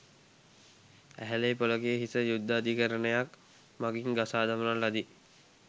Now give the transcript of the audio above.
ඇහැලේපොලගේ හිස යුද්ධ අධිකරණයක් මඟින් ගසා දමන ලදී